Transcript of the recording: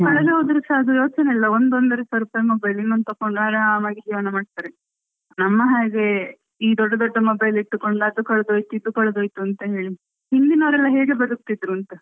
ಅವರಿಗೆ ಕಳೆದು ಹೋದ್ರೆ ಸಹ ಅದ್ರದ್ದು ಯೋಚನೆ ಇಲ್ಲ ಅದು ಹೋದ್ರೆ ಒಂದು ಒಂದೂವರೆ ಸಾವಿರ ರೂಪಾಯಿ mobile ಇನ್ನೊಂದು ತಕ್ಕೊಂಡು ಆರಾಮಾಗಿಜೀವನ ಮಾಡ್ತಾರೆ ನಮ್ಮ ಹಾಗೆ ಈ ದೊಡ್ಡ ಮೊಬೈಲ್ ಇಟ್ಕೊಂಡು ಅದು ಕಳ್ದೊಯ್ತು ಇದು ಕಳ್ದೊಯ್ತುಅಂತ ಹೇಳಿಹಿಂದಿನವರೆಲ್ಲ ಹೇಗೆ ಬದುಕ್ತಿದ್ರು ಅಂತ .